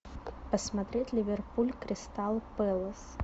посмотреть ливерпуль кристал пэлас